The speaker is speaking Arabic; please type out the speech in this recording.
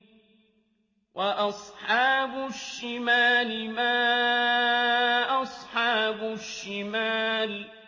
وَأَصْحَابُ الشِّمَالِ مَا أَصْحَابُ الشِّمَالِ